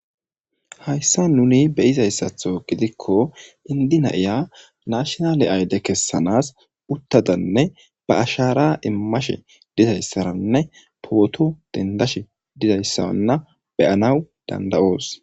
Hayssa nuni beyizayssatho gidikko indina'iya nashnale ayde kessanas uttadanne ba ashaara immashe dizayssaranne pooto dendash didayssaanna beyanaw dandayoos